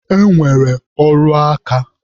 E nwere ọrụ aka.